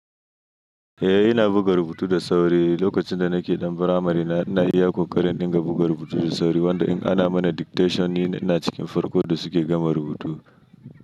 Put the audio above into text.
Eh ina buga rubutu da sauri. Lokacin da nake ɗan firamare na ina iya ƙoƙarin in ɗinga buga rubutu da sauri. Wanda in ana mana dictation ni ina cikin farkon da suke gama rubutu.